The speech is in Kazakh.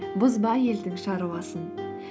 бұзба елдің шаруасын